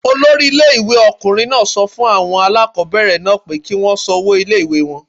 Olori ilé ìwé ọkùnrin náà sọ fún àwọn aláàkọ́bẹ̀rẹ̀ náà pé kí wọ́n san owó ilé ìwée wọn.